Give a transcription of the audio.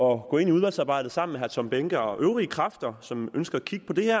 og gå ind i udvalgsarbejdet sammen med herre tom behnke og øvrige kræfter som ønsker at kigge på det her